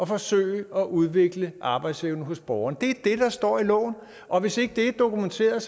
forsøge at udvikle arbejdsevnen hos borgeren det er står i loven og hvis ikke det er dokumenteret